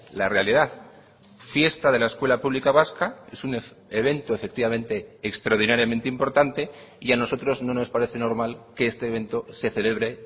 la realidad fiesta de la escuela pública vasca es un evento efectivamente extraordinariamente importante y a nosotros no nos parece normal que este evento se celebre